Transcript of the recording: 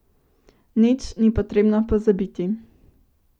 Nič ni potrebno pozabiti.